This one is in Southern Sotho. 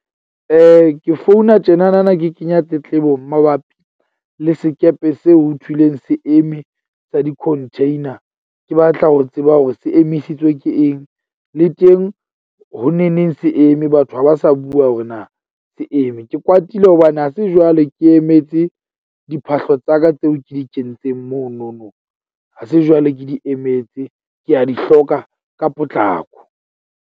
Ke founa tjena na ke kenya tletlebo mabapi le sekepe seo ho thulweng se eme sa di-container. Ke batla ho tseba hore se emisitswe ke eng le teng ho neneng se eme, batho ha ba sa bua hore na se eme. Ke kwatile hobane ha se jwale ke emetse diphahlo tsa ka tseo ke di kentseng mono no. Ha se jwale ke di emetse, ke a di hloka ka potlako.